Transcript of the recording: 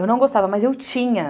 Eu não gostava, mas eu tinha.